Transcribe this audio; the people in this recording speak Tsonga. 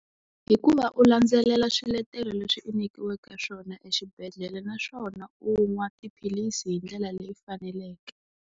Hi ku va u landzelela swiletelo leswi u nyikiweke swona exibedhlele naswona u nwa tiphilisi hi ndlela leyi faneleke.